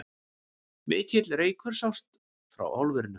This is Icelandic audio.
Mikill reykur sást frá álverinu